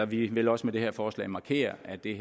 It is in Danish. vi vil også med det her forslag markere at det